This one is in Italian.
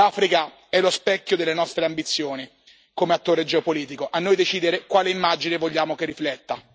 L'Africa è lo specchio delle nostre ambizioni come attore geopolitico spetta a noi decidere quale immagine vogliamo che rifletta.